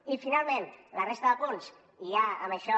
i finalment la resta de punts i ja en això